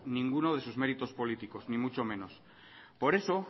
ninguno de sus méritos políticos ni mucho menos por eso